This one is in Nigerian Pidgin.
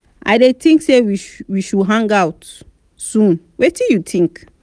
i dey think say we should hang out soon wetin you think?